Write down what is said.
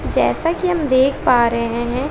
जैसा कि हम देख पा रहे हैं।